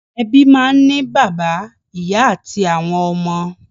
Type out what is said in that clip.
Ebi máa n ni bàbá, ìyá ati àwọn ọmọ.